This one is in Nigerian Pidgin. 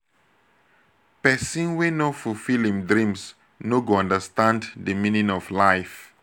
pesin wey no fulfill im dreams no go understand di meaning of life.